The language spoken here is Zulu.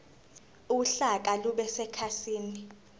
uhlaka lube sekhasini